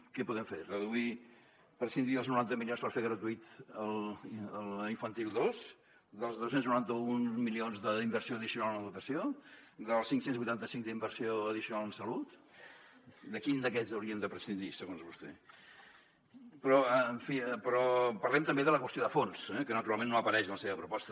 què podem fer reduir prescindir dels noranta milions per fer gratuïta la infantil dos dels dos cents i noranta un milions d’inversió addicional en educació dels cinc cents i vuitanta cinc d’inversió addicional en salut de quin d’aquests hauríem de prescindir segons vostè però en fi parlem també de la qüestió de fons eh que naturalment no apareix en la seva proposta